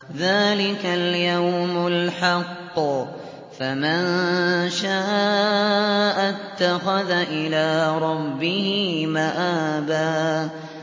ذَٰلِكَ الْيَوْمُ الْحَقُّ ۖ فَمَن شَاءَ اتَّخَذَ إِلَىٰ رَبِّهِ مَآبًا